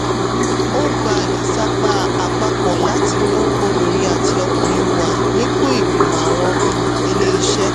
ó gba ìsapá àpapọ̀ láti mú obìnrin àti ọkùnrin wà nípò ìgbìmọ̀ àwọn um ilé-iṣẹ́.